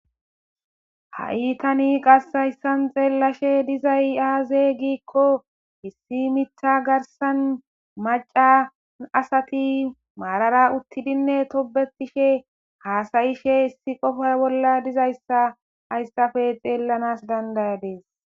Ha'itani qashayssan xeellashe dizay aaze giikko hissi mitha garsan maca asati maarara uttidinne tobetishe haasayishe hissi qofa bolla dizayssa ayssafe xeellanas dandayades.